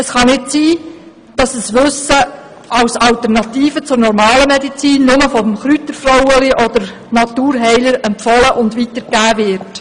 Es kann nicht sein, das ein Wissen als Alternative zur normalen Medizin nur vom «Chrütterfroueli» oder von Naturheilern empfohlen und weitegegeben wird.